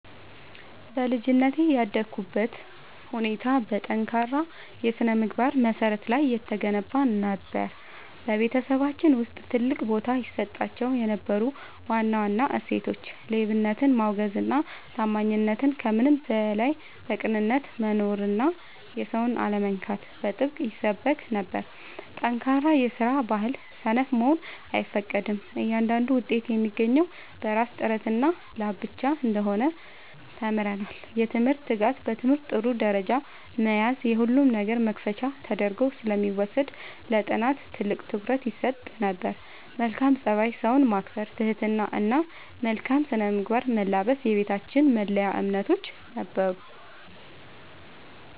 በልጅነቴ ያደግኩበት ሁኔታ በጠንካራ የሥነ-ምግባር መሠረት ላይ የተገነባ ነበር። በቤተሰባችን ውስጥ ትልቅ ቦታ ይሰጣቸው የነበሩ ዋና ዋና እሴቶች፦ ሌብነትን ማውገዝና ታማኝነት፦ ከምንም በላይ በቅንነት መኖርና የሰውን አለመንካት በጥብቅ ይሰበክ ነበር። ጠንካራ የስራ ባህል፦ ሰነፍ መሆን አይፈቀድም፤ እያንዳንዱ ውጤት የሚገኘው በራስ ጥረትና ላብ ብቻ እንደሆነ ተምረናል። የትምህርት ትጋት፦ በትምህርት ጥሩ ደረጃ መያዝ የሁሉም ነገር መክፈቻ ተደርጎ ስለሚወሰድ ለጥናት ትልቅ ትኩረት ይሰጥ ነበር። መልካም ፀባይ፦ ሰውን ማክበር፣ ትህትና እና መልካም ስነ-ምግባርን መላበስ የቤታችን መለያ እምነቶች ነበሩ።